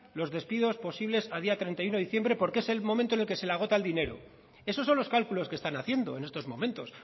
los despidos posibles a día treinta y uno de diciembre porque es el momento en el que se le agota el dinero esos son los cálculos que están haciendo en estos momentos